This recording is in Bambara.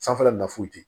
Sanfɛla nafolo di